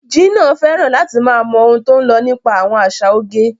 Gina fẹ́ràn láti máa mọ ohun tó ń lọ nípa àwọn àṣà oge.